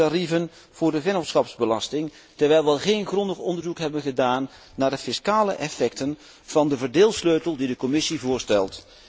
minimumtarieven voor de vennootschapsbelasting, terwijl wij geen grondig onderzoek hebben gedaan naar de fiscale effecten van de verdeelsleutel die de Commissie voorstelt.